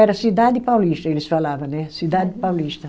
Era Cidade Paulista, eles falava né, Cidade Paulista.